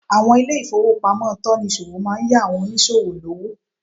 Àwọn ilé ìfowópamọ́ tonìsòwò máa n yá àwon onísòwò lówó